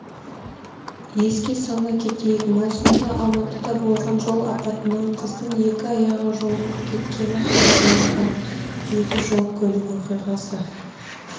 еске сала кетейік маусымда алматыда болған жол апатынан қыздың екі аяғы жұлынып кеткені хабарланған еді жол-көлік оқиғасы